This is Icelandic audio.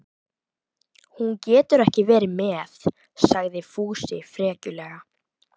Hún getur ekki verið með, sagði Fúsi frekjulega.